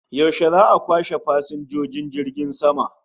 Yaushe za'a kwashe fasinjojin jirgin sama?